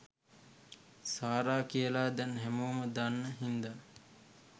සාරා කියලා දැන් හැමෝම දන්න හින්දා.